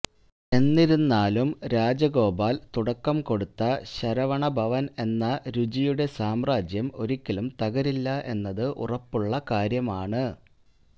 എന്നിരുന്നാലും രാജഗോപാൽ തുടക്കം കൊടുത്ത ശരവണ ഭവൻ എന്ന രുചിയുടെ സാമ്രാജ്യം ഒരിക്കലും തകരില്ല എന്നത് ഉറപ്പുള്ള കാര്യമാണ്